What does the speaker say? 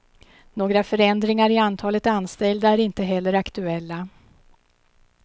Några förändringar i antalet anställda är inte heller aktuella.